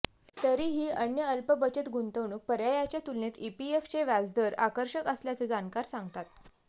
तरीही अन्य अल्पबचत गुंतवणूक पर्यायाच्या तुलनेत ईपीएफचे व्याजदर आकर्षक असल्याचं जाणकार सांगतात